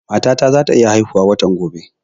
Mata ta za ta iya haihu watan gobe